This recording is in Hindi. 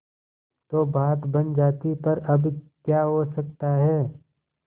तो बात बन जाती पर अब क्या हो सकता है